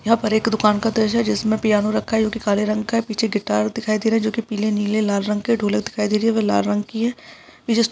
यहाँ पर एक दुकान का दृश्य है जिसमें पियानो रखा है काले रंग का है पीछे गिटार दिखाई दे रहा है जो की पीले नीले लाल रंग के ढ़ोलक दिखाई दे रही है वो लाल रंग की है --